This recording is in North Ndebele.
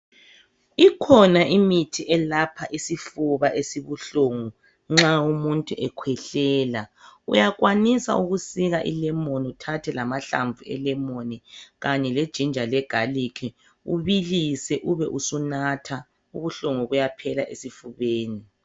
Ikhona imithi elapha isifuna esibuhlungu nxa umuntu ekhwehlela uyakwanisa ukusika ilemon uthathe lamahlamvu elemon kanye le ginger le garlic ubilise ube usunatha ubuhlungu buyaphela esifubeni.